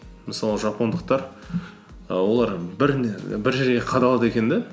мысалы жапондықтар і олар бір жерге қадалады екен де